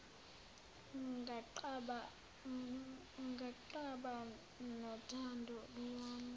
nganqaba nothando lwami